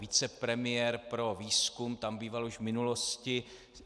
Vicepremiér pro výzkum tam býval už v minulosti.